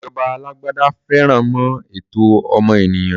Ìjọba alágbádá faremọ́ ẹ̀tọ́ ọmọ ènìyàn.